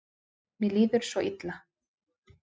Mér líður svo illa.